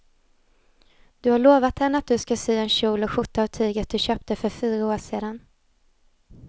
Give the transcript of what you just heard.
Du har lovat henne att du ska sy en kjol och skjorta av tyget du köpte för fyra år sedan.